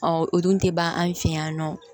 o dun tɛ ban an fɛ yan nɔ